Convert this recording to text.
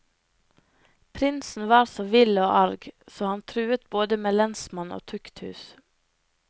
Prinsen var så vill og arg, så han truet både med lensmann og tukthus.